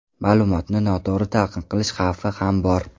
Ma’lumotni noto‘g‘ri talqin qilish xavfi ham bor.